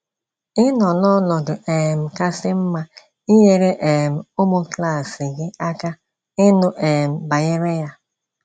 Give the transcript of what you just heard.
Ị nọ n’ọnọdụ̀ um kasị́ mma inyere um ụmụ klas gị aka ịnụ́ um banyere ya.